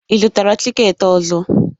Ị zụtara tikeeti ọzọ?